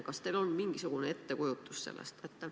Kas teil on mingisugune ettekujutus sellest?